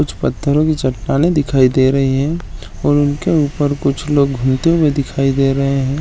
कुछ पत्थरो की चटाने दिखाई दे रहे हैं और उनके ऊपर कुछ करते हुए दिखाई दे रहे हैं।